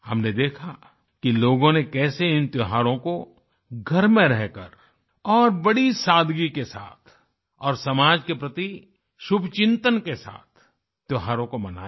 हमने देखा कि लोगों ने कैसे इन त्योहारों को घर में रहकर और बड़ी सादगी के साथ और समाज के प्रति शुभचिंतन के साथ त्योहारों को मनाया